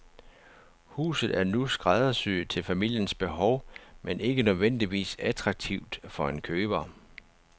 Huset er nu skræddersyet til familiens behov, men ikke nødvendigvis attraktivt for en ny køber.